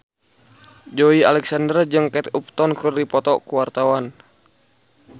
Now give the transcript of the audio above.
Joey Alexander jeung Kate Upton keur dipoto ku wartawan